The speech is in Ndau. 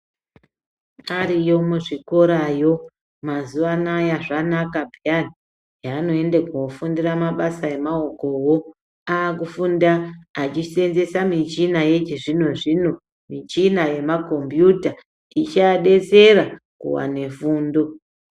Ariyo muzvikorayo mazuva anaya zvanaka peyani heanoende koofundira mabasa emaokowo. Aakufunda achiseenzesa michina yechizvino-zvino, michina yemakombiyuta ichiadetsera kuwane fundo.